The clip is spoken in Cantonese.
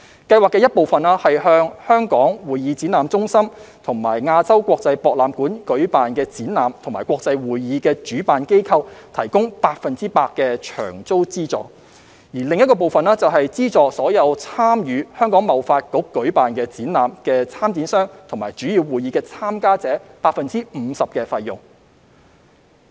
計劃的一部分是向在香港會議展覽中心和亞洲國際博覽館舉辦的展覽和國際會議的主辦機構提供百分百的場租資助；另一部分是資助所有參與香港貿易發展局舉辦的展覽的參展商和主要會議的參加者 50% 的費用。